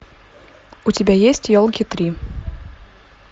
у тебя есть елки три